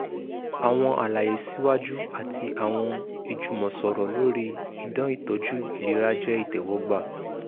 awọn alaye siwaju ati awọn ijumọsọrọ lori idan itọju ilera jẹ itẹwọgba